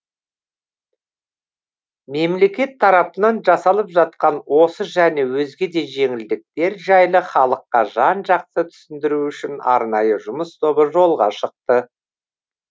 мемлекет тарапынан жасалып жатқан осы және өзге де жеңілдіктер жайлы халыққа жан жақты түсіндіру үшін арнайы жұмыс тобы жолға шықты